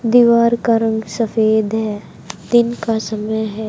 दीवार का रंग सफेद है दिन का समय है।